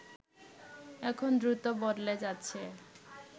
এখন দ্রুত বদলে যাচ্ছে